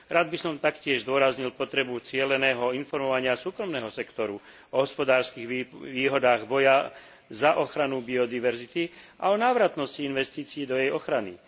Rád by som taktiež zdôraznil potrebu cieleného informovania súkromného sektoru o hospodárskych výhodách boja za ochranu biodiverzity a o návratnosti investícií do jej ochrany.